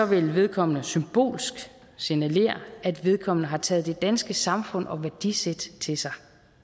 vil vedkommende symbolsk signalere at vedkommende har taget det danske samfund og værdisæt til sig